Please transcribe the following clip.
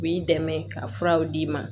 U b'i dɛmɛ ka furaw d'i ma